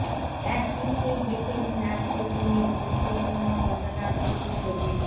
এক ক্লিকেই দেখে নিন আজকের দিনের গুরুত্বপূর্ণ ঘটনাবলির ছবি